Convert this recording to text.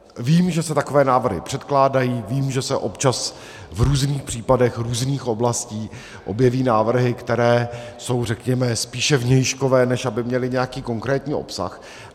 Vím, že se takové návrhy předkládají, vím, že se občas v různých případech různých oblastí objeví návrhy, které jsou, řekněme, spíše vnějškové, než aby měly nějaký konkrétní obsah.